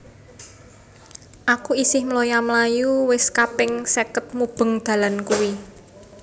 Aku isih mloya mlayu wis kaping seket mubeng dalan kui